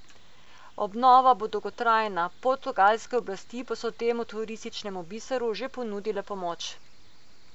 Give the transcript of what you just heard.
Obnova bo dolgotrajna, portugalske oblasti pa so temu turističnemu biseru že ponudile pomoč.